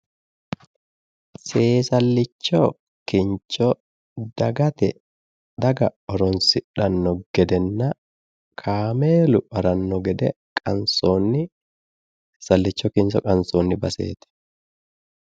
seesallicha kincho dagate daga horonsidhanno gedenna kameelu haranno gede qansoonni seesalicho qansoonni baseeti